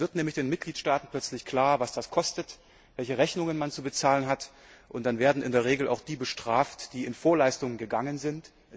Dann wird den Mitgliedstaaten nämlich plötzlich klar, was das kostet, welche Rechnungen man zu bezahlen hat, und dann werden in der Regel auch die bestraft, die in Vorleistung gegangen sind.